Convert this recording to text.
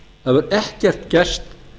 hefur ekkert gerst